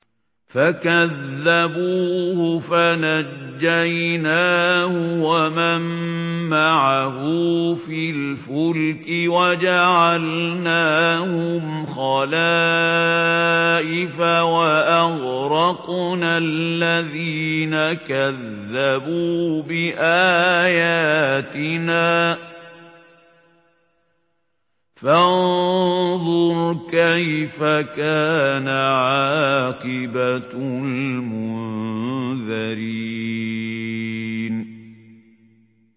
فَكَذَّبُوهُ فَنَجَّيْنَاهُ وَمَن مَّعَهُ فِي الْفُلْكِ وَجَعَلْنَاهُمْ خَلَائِفَ وَأَغْرَقْنَا الَّذِينَ كَذَّبُوا بِآيَاتِنَا ۖ فَانظُرْ كَيْفَ كَانَ عَاقِبَةُ الْمُنذَرِينَ